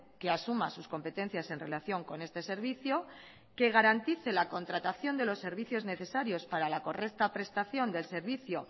que asuma sus competencias en relación con este servicio que garantice la contratación de los servicios necesarios para la correcta prestación del servicio